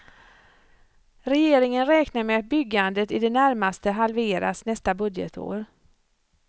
Regeringen räknar med att byggandet i det närmaste halveras nästa budgetår.